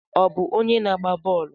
Ọ bụ onye na-agba bọọlụ?